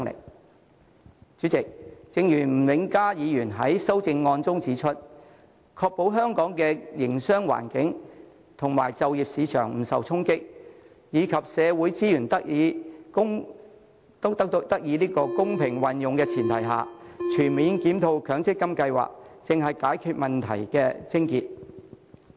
代理主席，正如吳永嘉議員在其修正案中指出，"在確保香港的營商環境和就業市場不受衝擊，以及社會資源得以公平運用的前提下，全面檢討強積金計劃"，才能解決問題的癥結。